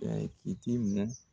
kitimu